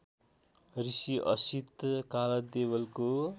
Rishi Asit कालदेवलको